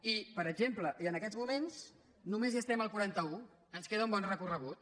i per exemple i en aquests moments només estem al quaranta un ens queda un bon recorregut